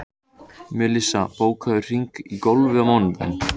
Melissa, bókaðu hring í golf á mánudaginn.